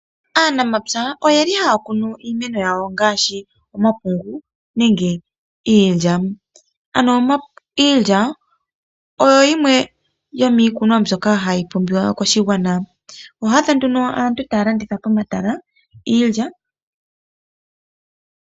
Aanamapya oyeli haya kunu iimeno yawo ngaashi omapungu nenge iilya. Iilya oyo yimwe yomiikunwa mbyoka hayi pumbiwa koshigwana . Oho adha nduno aantu taya landitha pomatala iilya.